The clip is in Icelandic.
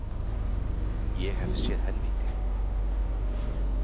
Ég hef séð helvíti.